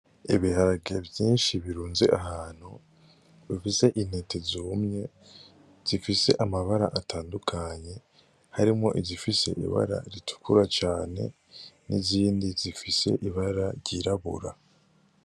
Ibiharage vyinshi birunze ahantu, bifise intete zumye, zifise amabara atandukanye, harimwo izifise ibara ritukura cane, n'izindi zifise ibara ryirabura.